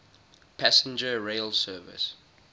passenger rail service